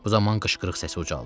Bu zaman qışqırıq səsi ucaldı.